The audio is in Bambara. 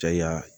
Caya